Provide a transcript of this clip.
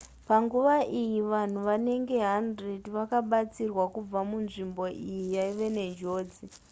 panguva iyi vanhu vanenge 100 vakabatsirwa kubva munzvimbo iyi yaiva nenjodzi